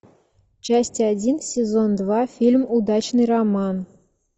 часть один сезон два фильм удачный роман